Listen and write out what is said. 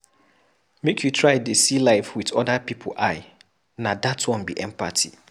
Make you try dey see life wit other pipu eye, na dat one be empathy.